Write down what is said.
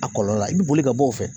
A kɔlɔlɔ la i bɛ boli ka bɔ o fɛ.